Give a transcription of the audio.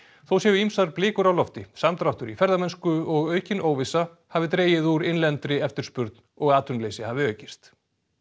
þó séu ýmsar blikur á lofti samdráttur í ferðamennsku og aukin óvissa hafi dregið úr innlendri eftirspurn og atvinnuleysi hafi aukist